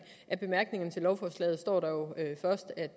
i bemærkningerne til lovforslaget står der først at